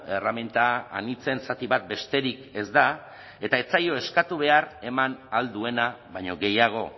erreminta anitzen zati bat besterik ez da eta ez zaio eskatu behar eman ahal duena baino gehiago